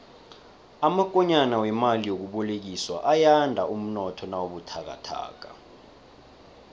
amakonyana wemali yokubolekiswa ayanda umnotho nawubuthakathaka